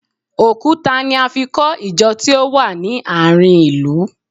Òkúta ni a fi kọ Ìjọ tí ó wà ní àárín ilu